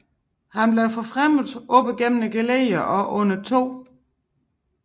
Han blev forfremmet op gennem geledderne og under 2